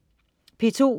P2: